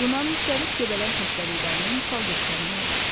Buna müxtəlif göbələk xəstəliklərini misal göstərmək olar.